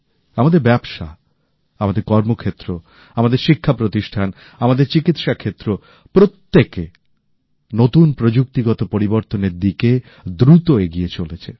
আমাদের ব্যবসা আমাদের কর্মক্ষেত্র আমাদের শিক্ষাপ্রতিষ্ঠান আমাদের চিকিত্সাক্ষেত্র প্রত্যেকে নতুন প্রযুক্তিগত পরিবর্তনের দিকে দ্রুত এগিয়ে চলেছে